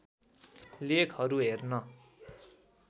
लेखहरू हेर्न